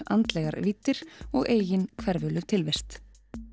andlegar víddir og eigin tilvist